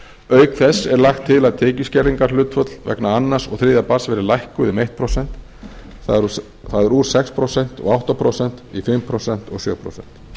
auk þess er lagt til að tekjuskerðingarhlutföll vegna annars og þriðja barns verði lækkuð um eitt prósent það er úr sex prósent og átta prósent í fimm prósent og sjö prósent